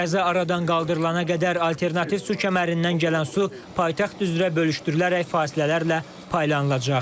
Qəza aradan qaldırılana qədər alternativ su kəmərindən gələn su paytaxt üzrə bölüşdürülərək fasilələrlə paylanılacaq.